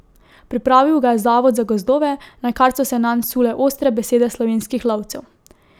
Pripravil ga je zavod za gozdove, nakar so se nanj vsule ostre besede slovenskih lovcev.